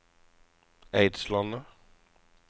Eidslandet